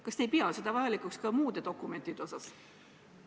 Kas te ei pea sellist asja vajalikuks ka muude dokumentide puhul?